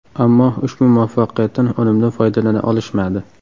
Ammo ushbu muvaffaqiyatdan unumli foydalana olishmadi.